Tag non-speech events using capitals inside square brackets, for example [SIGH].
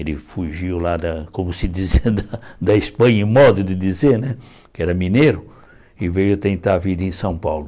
Ele fugiu lá da, como se dizia, [LAUGHS] da da Espanha, em modo de dizer, né, que era mineiro, e veio tentar a vida em São Paulo.